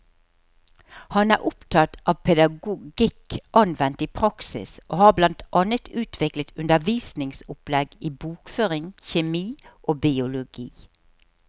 Han er opptatt av pedagogikk anvendt i praksis, og har blant annet utviklet undervisningsopplegg i bokføring, kjemi og biologi.